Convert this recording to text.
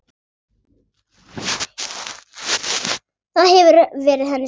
Það hefur verið henni sárt.